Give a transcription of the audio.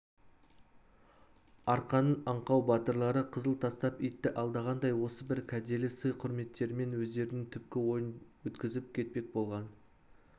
арқаның аңқау батырлары қызыл тастап итті алдағандай осы бір кәделі сый-құрметтерімен өздерінің түпкі ойын өткізіп кетпек болған